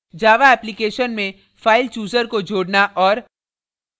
java application में file chooser को जोडना औऱ